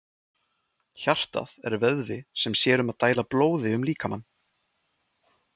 Hjartað er vöðvi sem sér um að dæla blóði um líkamann.